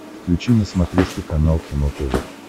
включи на смотрешке канал кино тв